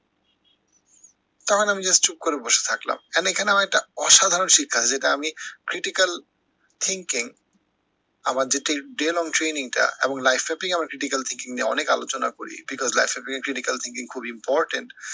তারপরে আমি just চুপ করে বসে থাকলাম। কেননা এখানে আমার একটা অসাধারণ শিক্ষা নিলাম যেটা আমি critical thinking আমার যে daylong training টা এবং life টাতেই আমার critical thinking নিয়ে অনেক আলোচনা করি because critical thinking খুব important